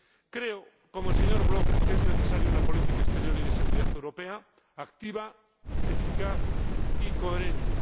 Creo ―como el señor Brok― que es necesaria una política exterior y de seguridad europea activa, eficaz y coherente.